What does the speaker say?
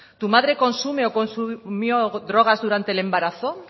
tu madre consume o consumió drogas durante el embarazo